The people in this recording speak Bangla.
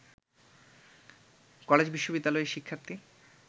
কলেজ-বিশ্ববিদ্যালয়ের শিক্ষার্থী